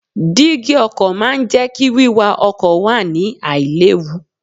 Dígí ọkọ̀ náà máa ń jẹ́ kí wíwa ọkọ̀ wà ní àì léwu.